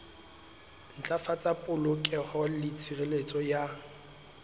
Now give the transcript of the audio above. ntlafatsa polokeho le tshireletso ya